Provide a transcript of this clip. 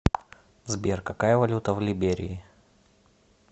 сбер какая валюта в либерии